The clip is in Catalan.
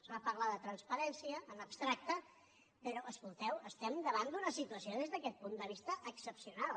es va parlar de transparència en abstracte però escolteu estem davant d’una situació des d’aquest punt de vista excepcional